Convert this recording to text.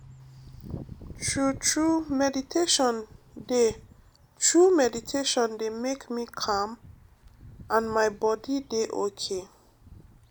true true meditation dey true meditation dey make me calm and my body dey okay.